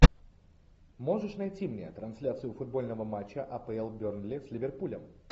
можешь найти мне трансляцию футбольного матча апл бернли с ливерпулем